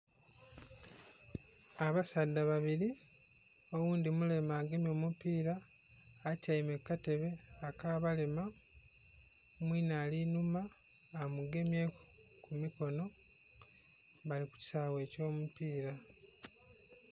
Abasaadha babiri oghundhi mulema agemye omupiira atyaime ku katebe ak'abalema mwinhe ari enhuma amugemyeku kumikono bali ku kisaawe ekyo omupiira.